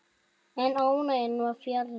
En ánægjan var fjarri.